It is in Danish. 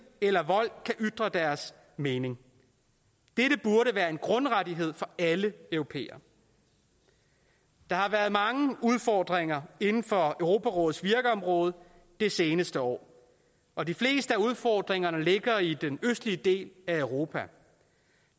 eller vold kan ytre deres mening dette burde være en grundrettighed for alle europæere der har været mange udfordringer inden for europarådets virkeområde det seneste år og de fleste af udfordringerne ligger i den østlige del af europa